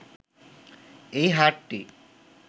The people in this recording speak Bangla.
এই হাটটি